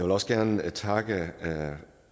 også gerne takke